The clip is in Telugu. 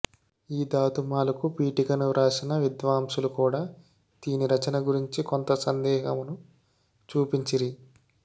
ఈ ధాతుమాలకు పీఠికను వ్రాసిన విద్వాంసులు కూడా దీని రచన గురించి కొంత సందేహమును చూపించిరి